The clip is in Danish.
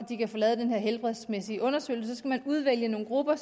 de kan få lavet den helbredsmæssige undersøgelse så skal man udvælge nogle grupper